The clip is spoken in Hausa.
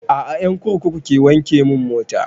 A'a ƴan kurkuku ke wanke mun mota